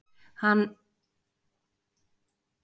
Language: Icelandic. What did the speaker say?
Hann sknaðu Ólafíu og hugsaði um hana á hverjum degi.